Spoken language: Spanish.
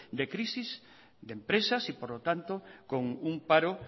de crisis de empresas y por lo tanto con un paro